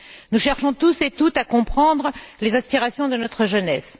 Nous cherchons tous et toutes à comprendre les aspirations de notre jeunesse.